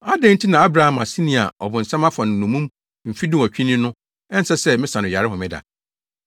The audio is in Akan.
Adɛn nti na Abraham aseni yi a ɔbonsam afa no nnommum mfe dunwɔtwe ni no ɛnsɛ sɛ mesa no yare homeda?”